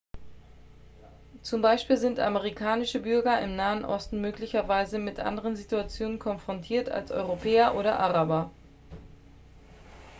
zum beispiel sind amerikanische bürger im nahen osten möglicherweise mit anderen situationen konfrontiert als europäer oder araber